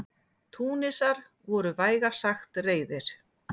Túnisar voru vægast sagt reiðir.